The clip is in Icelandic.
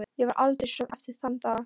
Ég varð aldrei söm eftir þann dag.